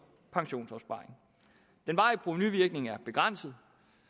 pensionsopsparing den varige provenuvirkning er begrænset